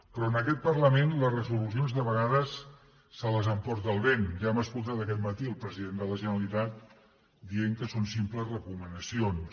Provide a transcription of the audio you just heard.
però en aquest parlament les resolucions de vegades se les emporta el vent ja hem escoltat aquest matí el president de la generalitat dient que són simples recomanacions